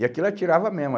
E aquilo atirava mesmo.